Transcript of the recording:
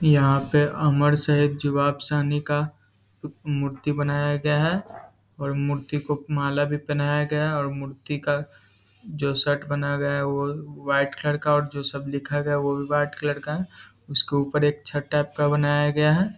यहाँ पे अमर शहीद जवाब साहनी का मूर्ति बनाया गया है और मूर्ति को माला भी पहनाया गया है और मूर्ति का जो शर्ट बना हुआ वो व्हाइट कलर का और जो सब लिखा हुआ वो भी व्हाइट कलर का है उसके ऊपर एक छत टाइप का बनाया गया है ।